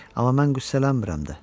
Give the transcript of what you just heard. Amma mən qüssələnmirəm də.